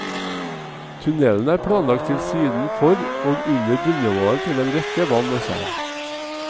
Tunnelen er planlagt til siden for og under bunnivået til en rekke vann og tjern.